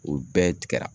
O bɛɛ tigɛra